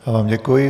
Já vám děkuji.